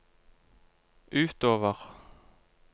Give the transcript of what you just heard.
utover